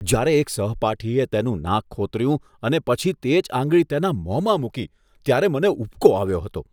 જ્યારે એક સહપાઠીએ તેનું નાક ખોતર્યું અને પછી તે જ આંગળી તેના મોંમાં મૂકી ત્યારે મને ઉબકો આવ્યો હતો.